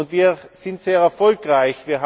Wir sind sehr erfolgreich.